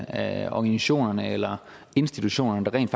af organisationerne eller institutionerne der rent